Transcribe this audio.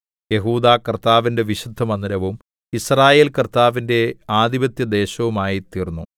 യെഹൂദാ കർത്താവിന്റെ വിശുദ്ധമന്ദിരവും യിസ്രായേൽ കർത്താവിന്റെ ആധിപത്യദേശവുമായിത്തീർന്നു